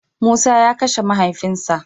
Musa ya Kashe mahaifin sa.